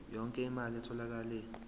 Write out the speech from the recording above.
yonke imali etholakele